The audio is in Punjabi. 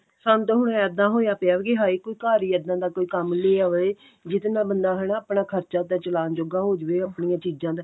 ਸਾਨੂੰ ਤਾਂ ਹੁਣ ਇੱਦਾਂ ਹੋਇਆ ਪਿਆ ਕੀ ਹਾਏ ਕੋਈ ਘਰ ਹੀ ਇੱਦਾਂ ਦਾ ਕੋਈ ਕੰਮ ਲਿਆਦੇ ਜਿਹੜੇ ਨਾਲ ਬੰਦਾ ਹਨਾ ਆਪਣਾ ਖਰਚਾ ਘਰ ਦਾ ਚਲਾਉਣ ਜੋਗਾ ਹੋਜੇ ਆਪਣੀਆਂ ਚੀਜ਼ਾਂ ਦਾ